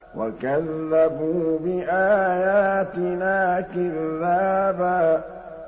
وَكَذَّبُوا بِآيَاتِنَا كِذَّابًا